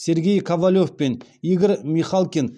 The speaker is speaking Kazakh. сергей ковалев пен игорь михалкин